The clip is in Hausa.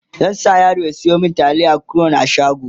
zan sa yaro ya Sayo mini taliyan crown a shago